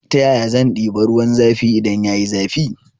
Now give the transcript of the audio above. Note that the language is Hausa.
Ta yaya zan ɗiba ruwan zafi idan yayi zafi